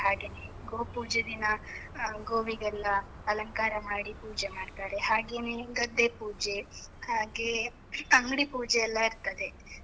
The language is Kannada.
ಹಾಗೇನೇ, ಗೋಪೂಜೆ ದಿನ ಗೋವಿಗೆಲ್ಲ ಅಲಂಕಾರ ಮಾಡಿ ಪೂಜೆ ಮಾಡ್ತಾರೆ, ಹಾಗೇನೇ ಗದ್ದೆ ಪೂಜೆ, ಹಾಗೇ ಅಂಗ್ಡಿ ಪೂಜೆ ಎಲ್ಲ ಇರ್ತದೆ.